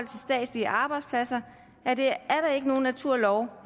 til statslige arbejdspladser er det ikke nogen naturlov